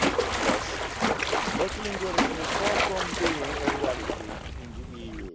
Alas, multilingualism is far from being a reality in the